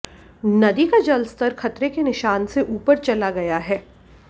नदी का जलस्तर खतरे के निशान से ऊपर चला गया है